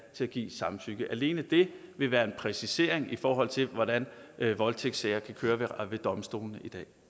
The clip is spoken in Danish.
til at give samtykke alene det vil være en præcisering i forhold til hvordan voldtægtssager kører ved domstolene